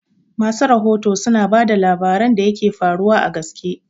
Masu rahoto suna bada labaran da yaka faruwa a gaske